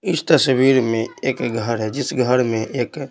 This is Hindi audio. इस तस्वीर में एक घर है जिस घर में एक--